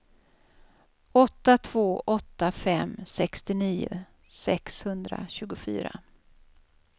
åtta två åtta fem sextionio sexhundratjugofyra